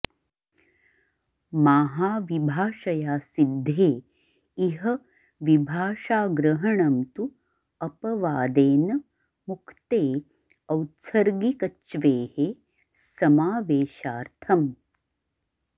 माहाविभाषया सिद्धे इह विभाषाग्रहणं तु अपवादेन मुक्ते औत्सर्गिकच्वेः समावेशार्थम्